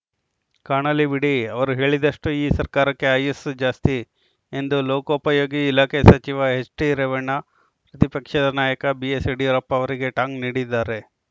ಕಾಣಲಿ ಬಿಡಿ ಅವರು ಹೇಳಿದಷ್ಟೂಈ ಸರ್ಕಾರಕ್ಕೆ ಆಯಸ್ಸು ಜಾಸ್ತಿ ಎಂದು ಲೋಕೋಪಯೋಗಿ ಇಲಾಖೆ ಸಚಿವ ಎಚ್‌ಡಿರೇವಣ್ಣ ಪ್ರತಿಪಕ್ಷದ ನಾಯಕ ಬಿಎಸ್‌ಯಡಿಯೂರಪ್ಪ ಅವರಿಗೆ ಟಾಂಗ್‌ ನೀಡಿದ್ದಾರೆ